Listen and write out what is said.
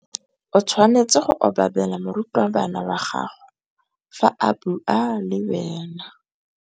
O tshwanetse go obamela morutabana wa gago fa a bua le wena.